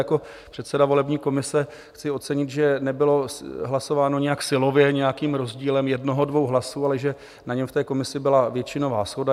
Jako předseda volební komise chci ocenit, že nebylo hlasováno nijak silově, nějakým rozdílem jednoho, dvou hlasů, ale že na něm v té komisi byla většinová shoda.